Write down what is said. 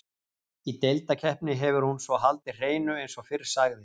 Í deildarkeppni hefur hún svo haldið hreinu eins og fyrr sagði.